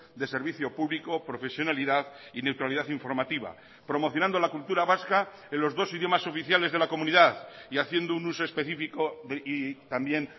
de servicio público profesionalidad y neutralidad informativa promocionando la cultura vasca en los dos idiomas oficiales de la comunidad y haciendo un uso específico y también